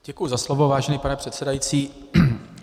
Děkuji za slovo, vážený pane předsedající.